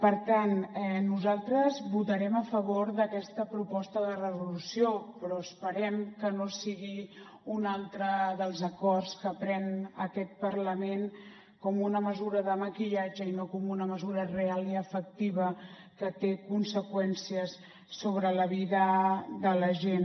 per tant nosaltres votarem a favor d’aquesta proposta de resolució però esperem que no sigui un altre dels acords que pren aquest parlament com una mesura de maquillatge i no com una mesura real i efectiva que té conseqüències sobre la vida de la gent